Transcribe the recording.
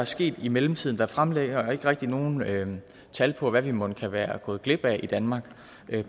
sket i mellemtiden der fremlægges ikke rigtig nogen tal på hvad vi mon kan være gået glip af i danmark